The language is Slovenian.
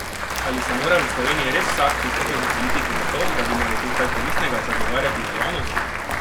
Ali se mora v Sloveniji res vsak, ki vstopi v politiko zato, da bi naredil kaj koristnega, zagovarjati v javnosti?